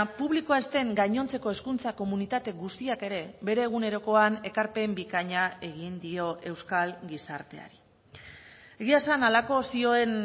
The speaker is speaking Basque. publikoa ez den gainontzeko hezkuntza komunitate guztiak ere bere egunerokoan ekarpen bikaina egin dio euskal gizarteari egia esan halako zioen